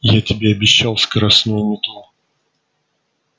я тебе обещал скоростную метлу